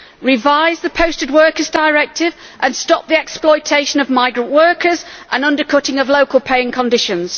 Revise the Posting of Workers Directive and stop the exploitation of migrant workers and the undercutting of local pay and conditions.